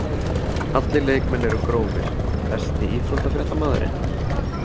Allir leikmenn eru grófir Besti íþróttafréttamaðurinn?